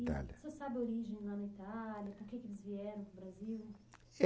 Italia. Você sabe a origem lá na Itália, por quê que eles vieram para o Brasil?